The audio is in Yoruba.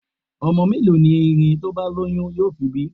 Ọmọ mẹ́lòó ni erin tí ó bá lóyún yóò fi bí?